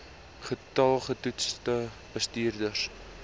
getal getoetste bestuurders